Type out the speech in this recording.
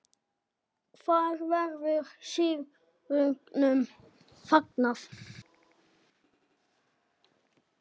Hvar verður sigrinum fagnað?